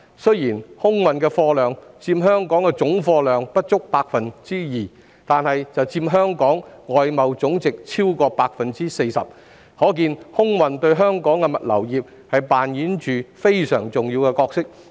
雖然空運的貨量佔香港的總貨運量不足 2%， 但卻佔香港外貿總值超過 40%， 可見空運對香港的物流業扮演着非常重要的角色。